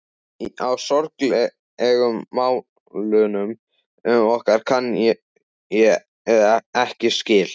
Á sorglegu málunum okkar kann ég ekki skil.